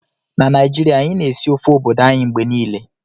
Na Naijiria, anyị na-esi ofe obodo anyị mgbe niile